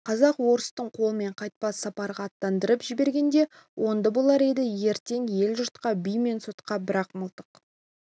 казак-орыстың қолымен қайтпас сапарға аттандырып жібергенде оңды болар еді ертең ел-жұртқа би мен сотқа бірақ мылтық